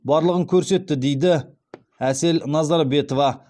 барлығын көрсетті дейді әсел назарбетова